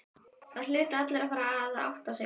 Það hlutu allir að fara að átta sig.